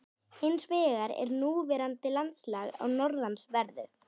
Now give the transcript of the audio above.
Hins vegar er núverandi landslag á norðanverðu